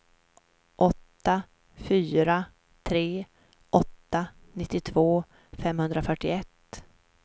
åtta fyra tre åtta nittiotvå femhundrafyrtioett